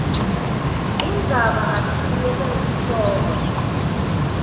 indzaba ngasinye saletihloko